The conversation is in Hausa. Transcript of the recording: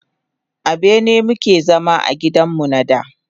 A bene mu ke zama a gidan mu na da.